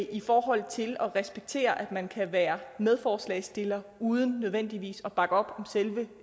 i forhold til at respektere at man kan være medforslagsstiller uden nødvendigvis at bakke op om selve